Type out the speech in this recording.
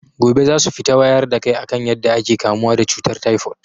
Gobe zasu fita wayar da kai akan yadda ake kamuwa da cutar taifot